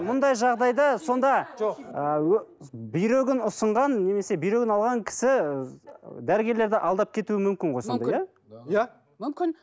мұндай жағдайда сонда ы бүйрегін ұсынған немесе бүйрегін алған кісі ы дәрігерлерді алдап кетуі мүмкін ғой сондай иә иә мүмкін